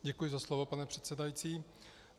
Děkuji za slovo, pane předsedající.